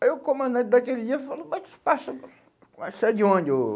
Aí o comandante daquele dia falou, mas mas você é de onde ou?